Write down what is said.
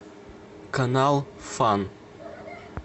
канал фан